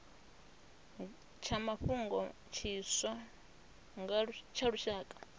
tsha mafhungo tshiswa tsha lushaka